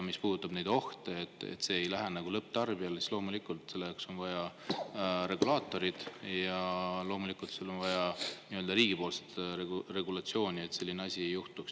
Mis puudutab ohtu, et see lõpptarbijani, siis loomulikult on selle jaoks vaja riigipoolset regulatsiooni, et selline asi ei juhtuks.